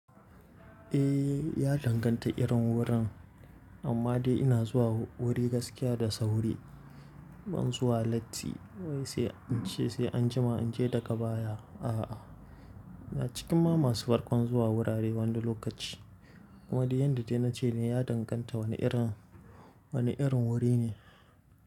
Eh, ya danganta irin wurin. Amma dai ina zuwa wuri gaskiya da sauri. Ban zuwa latti wai sai an ce sai anjima in je daga baya. A'a, ina cikin ma masu farkon zuwa wurare wani lokaci. Amma dai yanda dai na ce ne ya danganta wani irin, wani irin wuri ne.